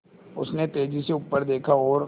उसने तेज़ी से ऊपर देखा और